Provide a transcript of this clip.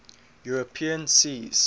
european seas